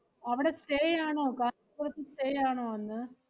അവടെ stay യാണോ കാഞ്ചീപുരത്ത് stay യാണോ അന്ന്?